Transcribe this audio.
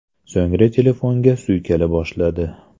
So‘ngra telefonga suykala boshladi.